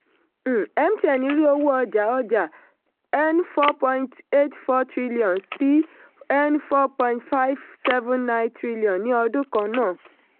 um mtn rí owó ọjà ọjà n four point eight four trillion sí n four point five seven nine trillion ní ọdún kan náà.